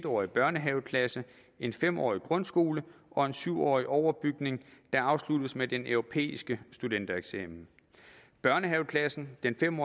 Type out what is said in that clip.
årig børnehaveklasse en fem årig grundskole og en syv årig overbygning der afsluttes med den europæiske studentereksamen børnehaveklassen den fem